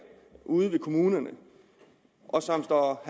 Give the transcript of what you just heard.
ude ved kommunerne og som står